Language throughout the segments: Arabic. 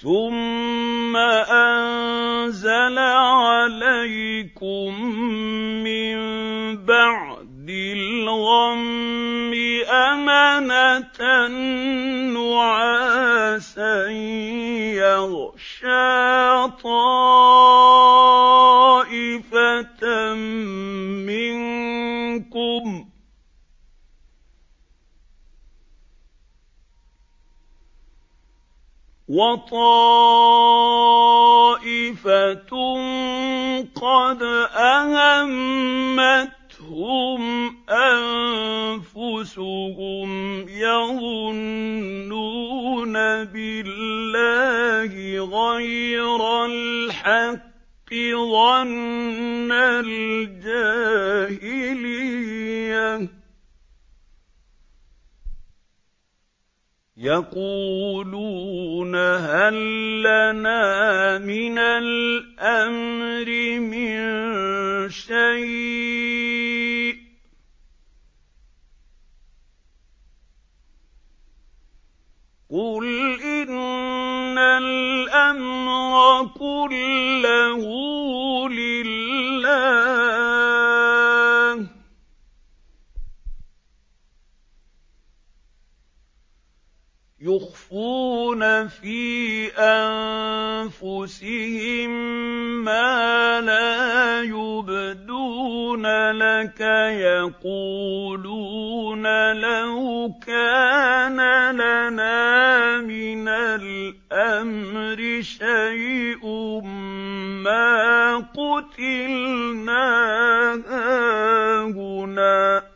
ثُمَّ أَنزَلَ عَلَيْكُم مِّن بَعْدِ الْغَمِّ أَمَنَةً نُّعَاسًا يَغْشَىٰ طَائِفَةً مِّنكُمْ ۖ وَطَائِفَةٌ قَدْ أَهَمَّتْهُمْ أَنفُسُهُمْ يَظُنُّونَ بِاللَّهِ غَيْرَ الْحَقِّ ظَنَّ الْجَاهِلِيَّةِ ۖ يَقُولُونَ هَل لَّنَا مِنَ الْأَمْرِ مِن شَيْءٍ ۗ قُلْ إِنَّ الْأَمْرَ كُلَّهُ لِلَّهِ ۗ يُخْفُونَ فِي أَنفُسِهِم مَّا لَا يُبْدُونَ لَكَ ۖ يَقُولُونَ لَوْ كَانَ لَنَا مِنَ الْأَمْرِ شَيْءٌ مَّا قُتِلْنَا هَاهُنَا ۗ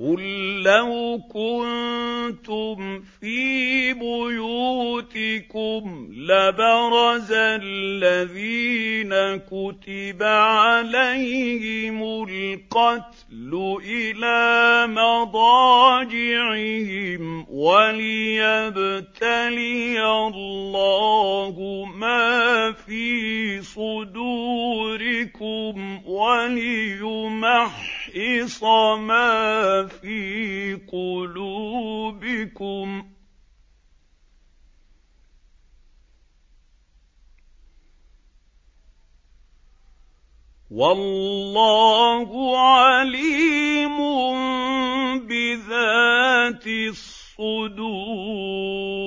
قُل لَّوْ كُنتُمْ فِي بُيُوتِكُمْ لَبَرَزَ الَّذِينَ كُتِبَ عَلَيْهِمُ الْقَتْلُ إِلَىٰ مَضَاجِعِهِمْ ۖ وَلِيَبْتَلِيَ اللَّهُ مَا فِي صُدُورِكُمْ وَلِيُمَحِّصَ مَا فِي قُلُوبِكُمْ ۗ وَاللَّهُ عَلِيمٌ بِذَاتِ الصُّدُورِ